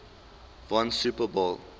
won super bowl